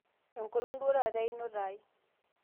enkolong' duo taata einoto ai